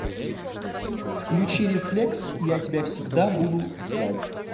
включи рефлекс я тебя всегда буду ждать